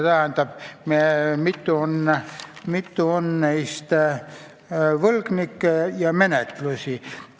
Kirjas on võlgnike ja menetluste arv.